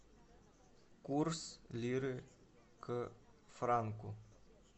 курс лиры к франку